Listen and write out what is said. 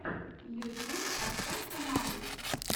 ютюб поставь каналы